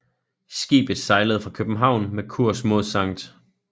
Skibet sejlede fra København med kurs mod Skt